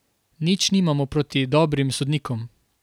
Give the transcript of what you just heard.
Nič nimamo proti dobrim sodnikom.